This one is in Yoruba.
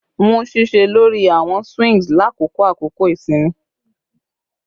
Mu ṣiṣẹ lori awọn swings lakoko akoko isinmi